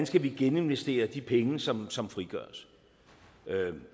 skal geninvestere de penge som som frigøres